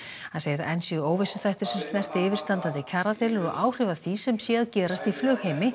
hann segir að enn séu óvissuþættir sem snerti yfirstandandi kjaradeilur og áhrif af því sem sé að gerast í